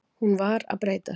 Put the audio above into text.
Hún var að breytast.